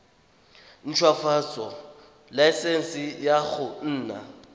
ntshwafatsa laesense ya go nna